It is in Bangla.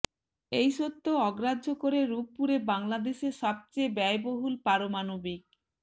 এই সত্য অগ্রাহ্য করে রূপপুরে বাংলাদেশের সবচেয়ে ব্যয়বহুল পারমাণবিক